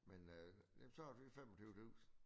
Men øh det tager lige 25 tusinde